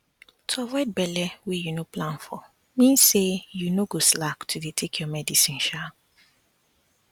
to avoid belle wey you no plan for mean say you no go slack to dey take your medicine sha